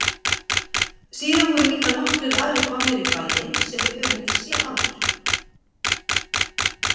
Síðan voru líka nokkrir aðrir komnir í bæinn sem við höfðum ekki séð áður.